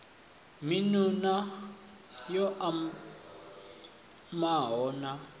miṋu na yo omaho na